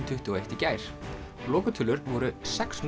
tuttugu og eitt í gær lokatölur voru sex